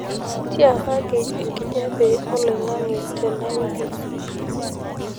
tiakaki enkijape oloing'ang'e tene wiki